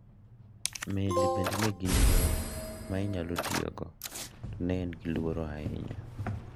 Meli bende ne gin yo ma ne inyalo tiyogo to ne gin gi luoro ahinya.